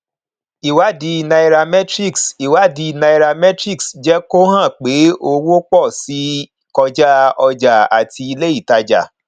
ìwádìí nairametrics ìwádìí nairametrics jẹ kó hàn pé owó pọ síi kọja ọjà àti iléìtajà